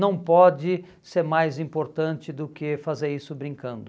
não pode ser mais importante do que fazer isso brincando.